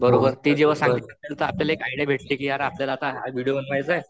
ते जेव्हा सांगतील आपल्याला एक आयडिया भेटते कि यार आपल्याला हा विडिओ बनवायचाय